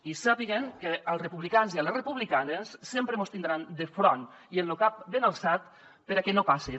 i sàpiguen que als republicans i les republicanes sempre mos tindran de front i amb lo cap ben alçat per a què no passen